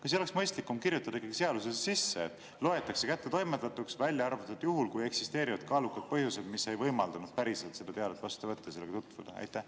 Kas ei oleks mõistlikum ikkagi kirjutada seadusesse sisse, et loetakse kättetoimetatuks, välja arvatud juhul, kui eksisteerivad kaalukad põhjused, mis ei võimaldanud päriselt seda teadet vastu võtta, sellega tutvuda?